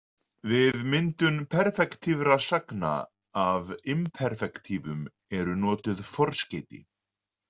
Við myndun perfektífra sagna af imperfektífum eru notuð forskeyti.